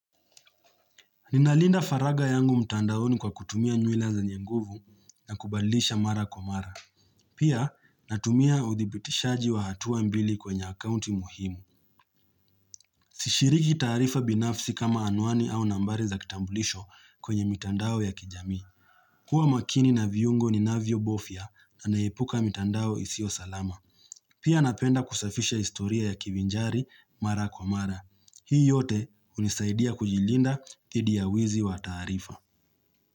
Ninalinda faraga yangu mtandaoni kwa kutumia nywila zenye nguvu na kubalisha mara kwa mara. Pia natumia uthibitishaji wa hatua mbili kwenye akaunti muhimu. Sishiriki taarifa binafsi kama anuani au nambari za kitambulisho kwenye mtandao ya kijamii. Kuwa makini na viungo ninavyo bofia na naipuka mtandao isio salama. Pia napenda kusafisha historia ya kivinjari mara kwa mara. Hii yote hunisaidia kujilinda dhidi ya wizi wa taarifa.